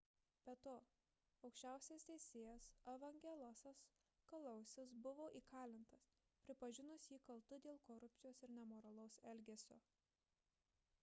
be to aukščiausias teisėjas evangelosas kalousis buvo įkalintas pripažinus jį kaltu dėl korupcijos ir nemoralaus elgesio